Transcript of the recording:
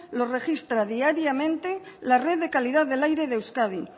los registra diariamente la red de calidad del aire de euskadi